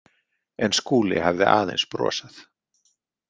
En Skúli hafði aðeins brosað.